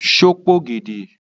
Ṣe o p'ògèdè?